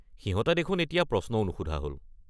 সিহঁতে দেখোন এতিয়া প্ৰশ্নও নুসুধা হ’ল।